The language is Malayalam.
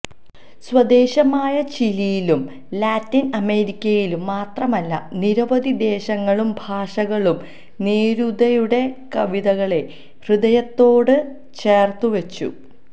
സ്വദേശമായ ചിലിയിലും ലാറ്റിന് അമേരിക്കയിലും മാത്രമല്ല നിരവധി ദേശങ്ങളും ഭാഷകളും നേരൂദയുടെ കവിതകളെ ഹൃദയത്തോട് ചേര്ത്തു വെച്ചു